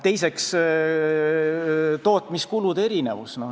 Teiseks, tootmiskulude erinevus.